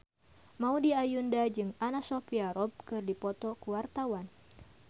Maudy Ayunda jeung Anna Sophia Robb keur dipoto ku wartawan